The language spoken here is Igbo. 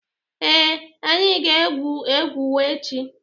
Ee, anyị ga-egwu agwụgwa echi.